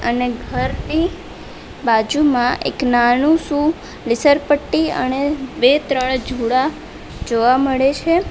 ને ઘરની બાજુમાં એક નાનું શું લીસર પટ્ટી અણે બે ત્રણ જુળા જોવા મળે છે.